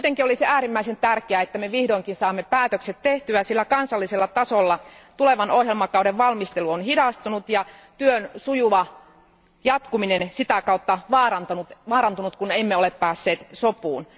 Kuitenkin olisi äärimmäisen tärkeää, että me vihdoinkin saamme päätökset tehtyä, sillä kansallisella tasolla tulevan ohjelmakauden valmistelu on hidastunut ja työn sujuva jatkuminen sitä kautta vaarantunut, kun emme ole päässeet sopuun.